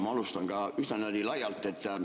Ma alustan ka üsna niimoodi laialt.